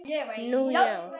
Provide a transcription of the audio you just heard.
Nú, já?